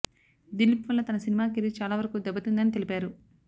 దిలీప్ వల్ల తన తన సినిమా కెరీర్ చాలా వరకు దెబ్బతిందని తెలిపారు